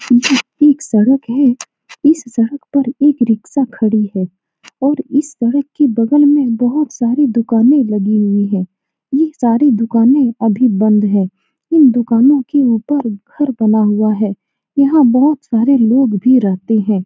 यह एक सड़क है इस सड़क पर एक रिक्शा खड़ी है और इस सड़क के बगल में बहुत सारी दुकाने लगे हुए हैं यह सारी दुकाने अभी बंद है यह दुकानों के उपर घर बने हुए है यहाँ बहुत सारे लोग भी रहते हैं ।